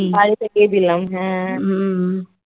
বাড়ি থেকেই দিলাম হ্যাঁ